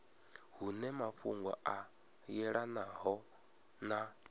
hune mafhungo a yelanaho na